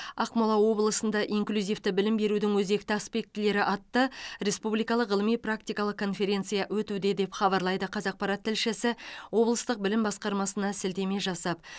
ақмола облысында инклюзивті білім берудің өзекті аспектілері атты республикалық ғылыми практикалық конференция өтуде деп хабарлайды қазақпарат тілшісі облыстық білім басқармасына сілтеме жасап